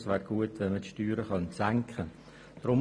Es wäre gut, wenn man die Steuern senken könnte.